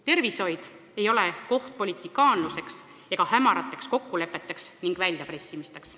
Tervishoid ei ole koht politikaanluseks, hämarateks kokkulepeteks ning väljapressimisteks.